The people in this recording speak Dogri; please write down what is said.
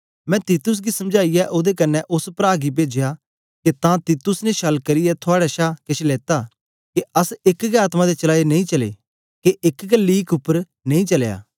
मैं तीतुस गी समझाईयै ओदे कन्ने ओस प्रा गी पेजया के तां तीतुस ने छल करियै थुआड़े शा केछ लेता के अस एक गै आत्मा दे चालाए नेई चलै के एक गै लीक उपर नेई चलया